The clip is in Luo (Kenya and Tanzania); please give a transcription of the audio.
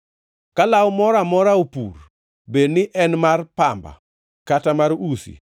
“Ka law moro amora opur; bed ni en mar pamba kata mar usi,